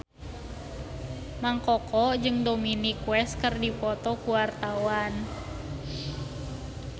Mang Koko jeung Dominic West keur dipoto ku wartawan